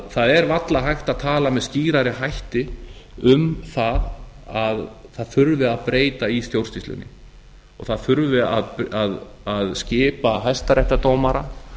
það er varla hægt að tala með skýrari hætti um það að það þurfi að breyta í stjórnsýslunni og það þurfi að skipa hæstaréttardómara